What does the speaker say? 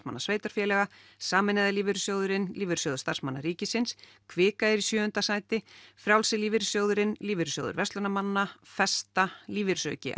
sveitarfélaga sameinaði lífeyrissjóðurinn Lífeyrissjóður stm ríkisins kvika er í sjöunda sæti Frjálsi lífeyrissjóðurinn Lífeyrissjóður verslunarmanna festa lífeyrissjóður